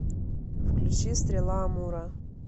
включи стрела амура